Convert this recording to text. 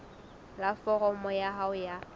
la foromo ya hao ya